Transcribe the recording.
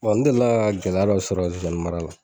n deli la ka gɛlɛya dɔ sɔrɔ zozani mara la.